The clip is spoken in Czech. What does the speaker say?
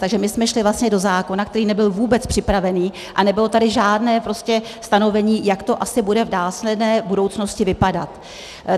Takže my jsme šli vlastně do zákona, který nebyl vůbec připravený, a nebylo tady žádné prostě stanovení, jak to asi bude v následné budoucnosti vypadat.